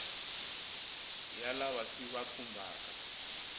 ya lava swi va khumbhaka